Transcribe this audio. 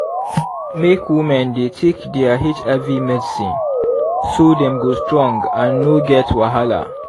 make women dey take their hiv medicine so dem go strong and no get wahala